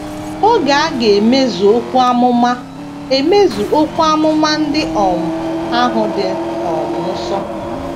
Oge a ga - emezu okwu amụma emezu okwu amụma ndị um ahụ dị um nso.